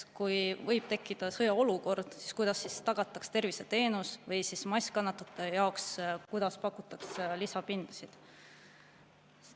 Näiteks võib tekkida sõjaolukord ja kuidas siis tagatakse tervishoiuteenus või kuidas massi kannatanute jaoks pakutakse lisapindasid?